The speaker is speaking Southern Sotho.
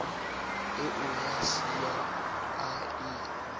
eo a siyang a e